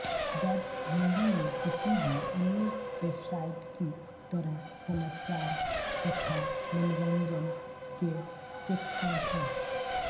that's Hindi में किसी भी अन्य वेबसाइट की तरह समाचार तथा मनोरंजन के सेक्शन हैं